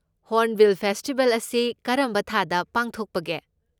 Hornbill festival ꯑꯁꯤ ꯀꯔꯝꯕ ꯊꯥꯗ ꯄꯥꯡꯊꯣꯛꯄꯒꯦ?